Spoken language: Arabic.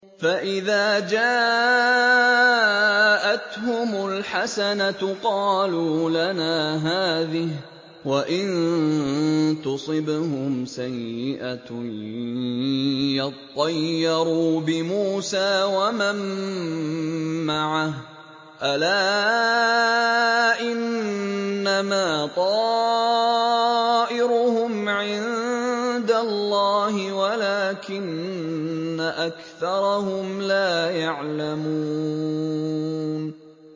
فَإِذَا جَاءَتْهُمُ الْحَسَنَةُ قَالُوا لَنَا هَٰذِهِ ۖ وَإِن تُصِبْهُمْ سَيِّئَةٌ يَطَّيَّرُوا بِمُوسَىٰ وَمَن مَّعَهُ ۗ أَلَا إِنَّمَا طَائِرُهُمْ عِندَ اللَّهِ وَلَٰكِنَّ أَكْثَرَهُمْ لَا يَعْلَمُونَ